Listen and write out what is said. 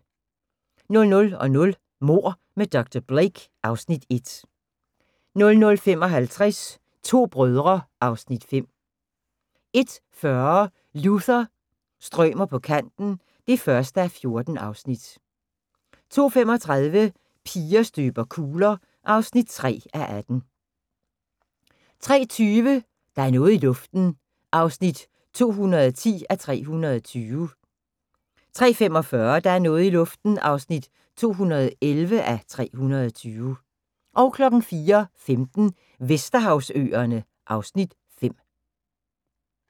00:00: Mord med dr. Blake (Afs. 1) 00:55: To brødre (Afs. 5) 01:40: Luther – strømer på kanten (1:14) 02:35: Piger støber kugler (3:18) 03:20: Der er noget i luften (210:320) 03:45: Der er noget i luften (211:320) 04:15: Vesterhavsøerne (Afs. 5)